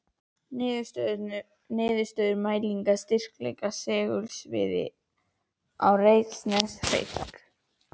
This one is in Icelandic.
Niðurstöður mælinga á styrkleika segulsviða á Reykjaneshrygg.